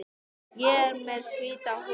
Ég er með hvíta húfu.